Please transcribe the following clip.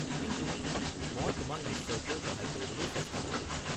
কিন্তু মই তোমাক নিশ্চয়কৈ সহায় কৰিবলৈ চেষ্টা কৰিম।